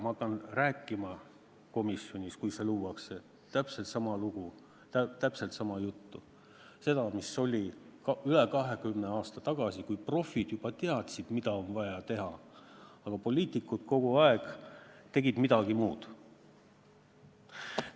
Ma pean rääkima komisjonis, kui see luuakse, täpselt sama juttu, mida ma rääkisin üle 20 aasta tagasi, kui profid juba teadsid, mida on vaja teha, aga poliitikud kogu aeg tegid midagi muud.